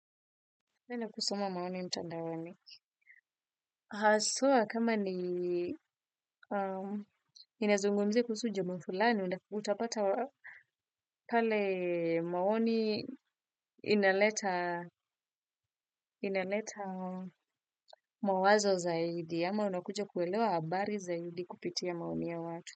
Napenda kusoma maoni mtandaoni. Haswa kama ni inazungumzia kusuhu jamaa fulani, utapata pale maoni inaleta mawazo zaidi. Ama unakuja kuelewa habari zaidi kupitia maoni ya watu.